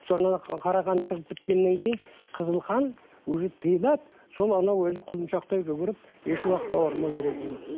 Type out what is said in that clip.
соны қара қанды шығып біткеннен кейін қызыл қан уже тиылады сол анау өзі құлыншақтай жүгіріп еш уақытта ауырмай жүретін